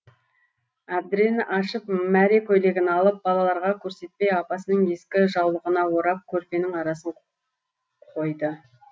әбдірені ашып мәре көйлегін алып балаларға көрсетпей апасының ескі жаулығына орап көрпенің арасын қойды